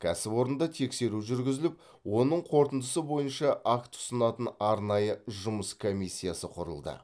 кәсіпорында тексеру жүргізіліп оның қорытындысы бойынша акт ұсынатын арнайы жұмыс комиссиясы құрылды